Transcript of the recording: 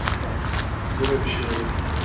Deyirlər, hə, belə bir şey olub.